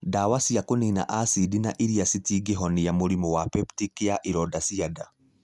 Ndawa cia kũnina acidi na iria citingĩhonia mũrimũ wa peptic ya ironda cia nda.